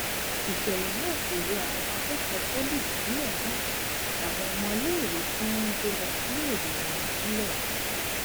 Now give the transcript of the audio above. ìṣẹlẹ náà kò yọ àwọn akẹkọọ poli ìpínlẹ náà àtàwọn ọmọléèwé tí wọn ń gbé lọ síléèwé wọn sílẹ